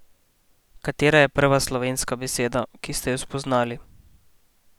Katera je bila prva slovenska beseda, ki ste jo spoznali?